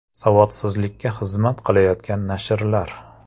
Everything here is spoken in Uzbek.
Savodsizlikka xizmat qilayotgan nashrlar .